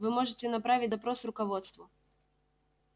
вы можете направить допрос руководству